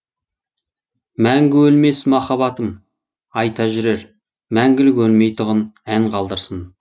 мәңгі өлмес махаббатым айта жүрер мәңгілік өлмей тұғын ән қалдырсын